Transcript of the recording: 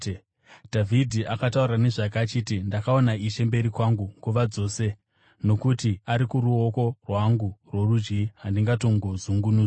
Dhavhidhi akataura nezvake achiti: “ ‘Ndakaona Ishe mberi kwangu nguva dzose. Nokuti ari kuruoko rwangu rworudyi, handingatongozungunuswi.